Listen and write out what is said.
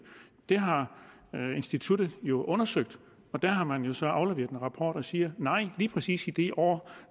det har instituttet jo undersøgt der har man så afleveret en rapport og siger nej lige præcis i de år